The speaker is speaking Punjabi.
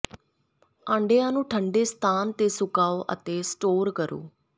ਆਂਡਿਆਂ ਨੂੰ ਠੰਢੇ ਸਥਾਨ ਤੇ ਸੁਕਾਓ ਅਤੇ ਸਟੋਰ ਕਰੋ